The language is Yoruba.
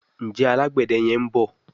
Njé Alágbède yén bó?